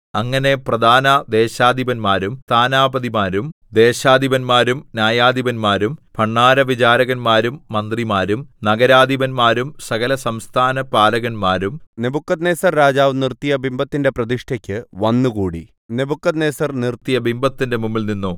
അങ്ങനെ പ്രധാന ദേശാധിപന്മാരും സ്ഥാനാപതിമാരും ദേശാധിപന്മാരും ന്യായാധിപന്മാരും ഭണ്ഡാരവിചാരകന്മാരും മന്ത്രിമാരും നഗരാധിപന്മാരും സകലസംസ്ഥാനപാലകന്മാരും നെബൂഖദ്നേസർ രാജാവ് നിർത്തിയ ബിംബത്തിന്റെ പ്രതിഷ്ഠയ്ക്ക് വന്നുകൂടി നെബൂഖദ്നേസർ നിർത്തിയ ബിംബത്തിന്റെ മുമ്പിൽനിന്നു